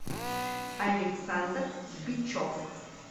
александр бичев